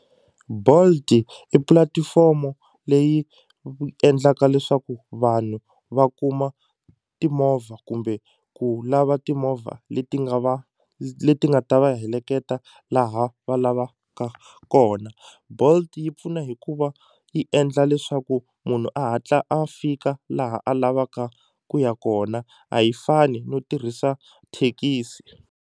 Bolt i pulatifomo leyi endlaka leswaku vanhu va kuma timovha kumbe ku lava timovha leti nga va leti nga ta va heleketa laha va lavaka kona Bolt yi pfuna hikuva yi endla leswaku munhu a hatla a fika laha a lavaka ku ya kona a yi fani no tirhisa thekisi.